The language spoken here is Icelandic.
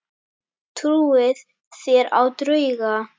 Trúið þér á drauga?